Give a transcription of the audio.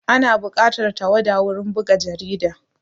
Ana buƙatar tawada wurin buga jarida